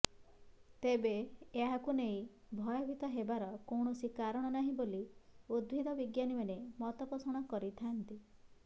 ତେବେ ଏହାକୁ ନେଇ ଭୟଭୀତ ହେବାର କୌଣସି କାରଣ ନାହିଁ ବୋଲି ଉଦ୍ଭିଦ ବିଜ୍ଞାନୀମାନେ ମତପୋଷଣ କରିଥାନ୍ତି